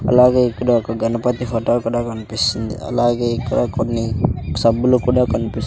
అలాగే ఇక్కడ ఒక గణపతి ఫొటో కూడా కన్పిస్తుంది అలాగే ఇక్కడ కొన్ని సబ్బులు కూడా కన్పీస్--